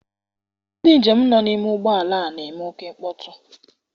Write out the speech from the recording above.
Ndị njem nọ n'ime ụgbọala a n'eme oké mkpọtụ.